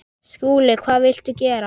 SKÚLI: Hvað viltu gera?